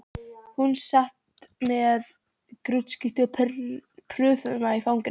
Hún sat með grútskítuga prufuna í fanginu.